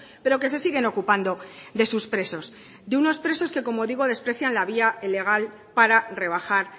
pero que se siguen ocupando de sus presos de unos presos que como digo desprecian la vía legal para rebajar